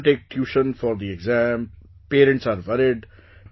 Children take tuition for the exam, parents are worried